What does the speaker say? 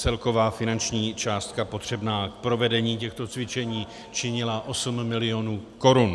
Celková finanční částka potřebná k provedení těchto cvičení činila 8 mil. korun.